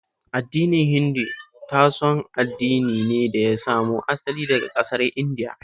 Addinin Hindu tashon addini ne da ya samo asali daka ƙasar Indiya